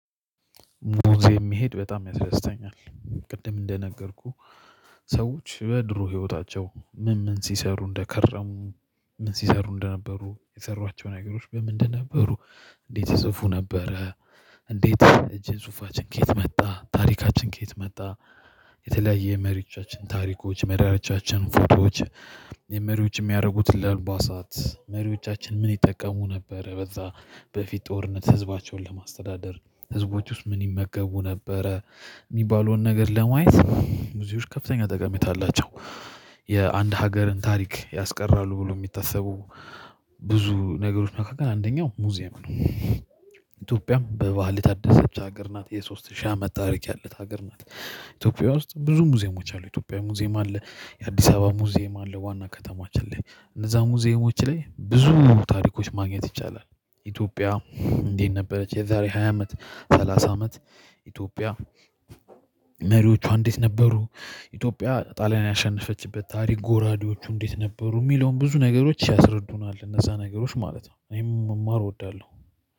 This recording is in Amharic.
ሙዚየም የሚሄድ በጣም ያስደስተኛል። ቅድም እንደነገርኩህ ሰዎች በድሮ ህይወታቸው ምን ምን ሲሰሩ እንደከረሙ ምን ሲሰሩ እንደነበሩ የሰሯቸው ነገሮች በምን እንደነበሩ እንዴት ይጽፉ ነበረ። እንዴት እጄ ጽሁፋችን ከየት መጣ ታሪካችን ከየት መጣ? የተለያየ መሪዎቻችን ታሪኮች መሪዎቻችን ፎቶዎች የመሪዎች የሚያደርጉት ለልቧሳት መሪዎቻችን ምን ይጠቀሙ ነበረ? በዛ በፊት ጦርነት ህዝባቸውን ለማስተዳደር ህዝቦች ውስጥ ምን ይመገቡ ነበረ? የሚባለውን ነገር ለማየት ሙዚየሞች ከፍተኛ ጠቀሜታ አላቸው። የአንድ ሀገርን ታሪክ ያስቀራሉ ብሎ የሚታሰቡ ብዙ ነገሮች መካከል አንደኛው ሙዚየም ነው። ኢትዮጵያም በባህል የታደሰች ሀገር ናት የሶስት ሺህ አመት ታሪክ ያለት ሀገር ናት። ኢትዮጵያ ውስጥ ብዙ ሙዚየሞች አሉ ኢትዮጵያ ሙዚየም አለ። የአዲስ አበባ ሙዚየም አለ ዋና ከተማችን ላይ እነዛ ሙዚየሞች ላይ ብዙ ታሪኮች ማግኘት ይቻላል። ኢትዮጵያ እንዴት ነበረች? የዛሬ ሀ አመት ሰላሳ አመት ኢትዮጵያ መሪዎቿ እንዴት ነበሩ? ኢትዮጵያ ጣሊያን ያሸነፈችበት ታሪክ ጎራዴዎቹ እንዴት ነበሩ የሚለውን ብዙ ነገሮች ያስረዱናል እነዛ ነገሮች ማለት ነው። እኔም መማር እወዳለሁ።